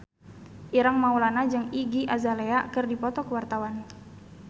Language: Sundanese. Ireng Maulana jeung Iggy Azalea keur dipoto ku wartawan